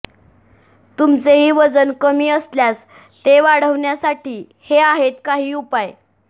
तुमचेही वजन कमी असल्यास ते वाढवण्यासाठी हे आहेत काही उपाय